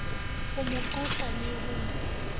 ho mo qosa le ho